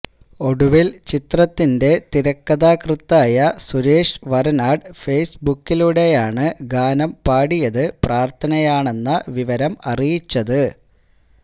ഒടുവിൽ ചിത്രത്തിന്റെ തിരക്കഥാകൃത്തായ സുരേഷ് വരനാട് ഫെയ്സ്ബുക്കിലൂടെയാണ് ഗാനം പാടിയത് പ്രാർത്ഥനയാണെന്ന വിവരം അറിയിച്ചത്